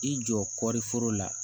I jɔ kɔɔri foro la